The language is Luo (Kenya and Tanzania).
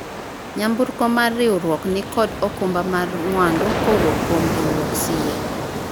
nyamburko mar riwruok nikod okumba mar mwandu kowuok kuom riwruok siye